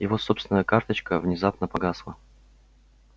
его собственная карточка внезапно погасла